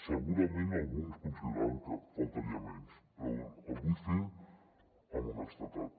segurament alguns consideraran que només faltaria però el vull fer amb honestedat